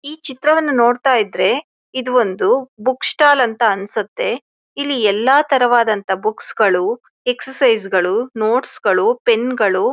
ಈ ಚಿತ್ರವನ್ನ ನೋಡ್ತಾ ಇದ್ರೆ ಇದು ಒಂದು ಬುಕ್ ಸ್ಟಾಲ್ ಅಂತ ಅನ್ನ್ಸುತ್ತೆ ಇಲ್ಲಿ ಎಲ್ಲಾ ತರವಾದಂತ ಬುಕ್ಸ್ ಗಳು ಎಕ್ಸರ್ಸೈಜ್ಗಳು ನೋಟ್ಸ್ ಗಳು ಪೆನ್ಗಳು --